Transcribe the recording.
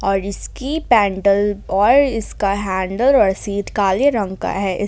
और इसकी पैंडल और इसका हैंडल और शीट काले रंग का है।